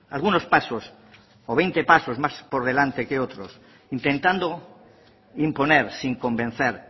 algunos pasos o veinte pasos más por delante que otros intentando imponer sin convencer